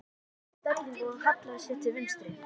Lilla skipti um stellingu og hallaði sér til vinstri.